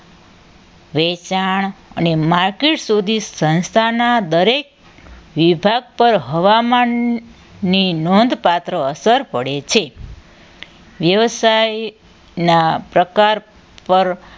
વેચાણ અને માર્કેટ સુધી સંસ્થાના દરેક વિભાગ પર હવામાનની નોંધપાત્ર અસર પડે છે વ્યવસાય ના પ્રકાર પર